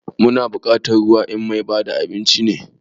Muna bukatar ruwa ina mai bada abinci ne?